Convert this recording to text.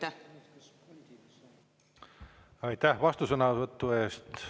Aitäh vastusõnavõtu eest!